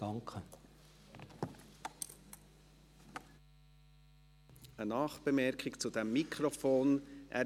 Eine Nachbemerkung zum Mikrofon, das Grossrat Grädel verwendet.